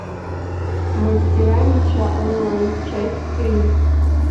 мастера меча онлайн часть три